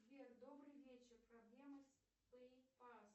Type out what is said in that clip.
сбер добрый вечер проблема с пэй пасс